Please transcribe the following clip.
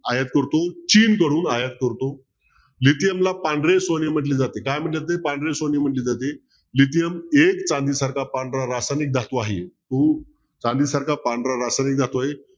आयात करतो चीन कडून आयात करतो lithium ला पांढरे सोने म्हटले जाते काय म्हटले जाते पांढरे सोने म्हटले जाते lithium एक चांदीसारखा पांढरा रासायनिक धातू आहे तो चांदीसारखा पांढरा रासायनिक धातू आहे